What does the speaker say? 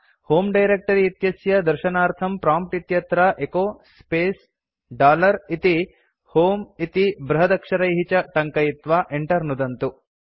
होमे डायरेक्ट्री इत्यस्य दर्शनार्थं प्रॉम्प्ट् इत्यत्र एचो स्पेस् डॉलर इति होमे इति बृहदक्षरैः च टङ्कयित्वा enter नुदन्तु